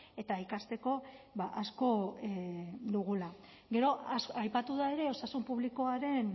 eta ikasteko asko dugula gero aipatu da ere osasun publikoaren